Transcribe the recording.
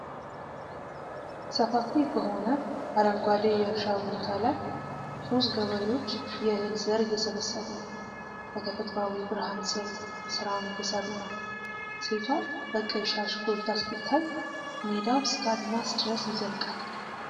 ሰፋፊ በሆነ አረንጓዴ የእርሻ ቦታ ላይ ሦስት ገበሬዎች የእህል ዘር እየሰበሰቡ ነው። በተፈጥሯዊ ብርሃን ስር ሥራውን እየሠሩ ነው፣ ሴቷ በቀይ ሻሽ ጎልታ ስትታይ፣ ሜዳው እስከ አድማስ ድረስ ይዘልቃል።